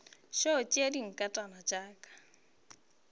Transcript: tšo tšea dinkatana tša ka